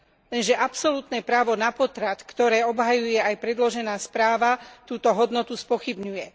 Lenže absolútne právo na potrat, ktoré obhajuje aj predložená správa, túto hodnotu spochybňuje.